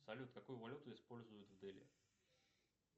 салют какую валюту используют в дели